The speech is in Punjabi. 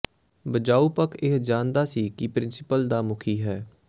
ਬਚਾਓ ਪੱਖ ਇਹ ਜਾਣਦਾ ਸੀ ਕਿ ਪ੍ਰਿੰਸੀਪਲ ਦਾ ਮੁਖੀ ਹੈ